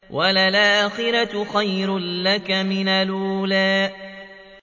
وَلَلْآخِرَةُ خَيْرٌ لَّكَ مِنَ الْأُولَىٰ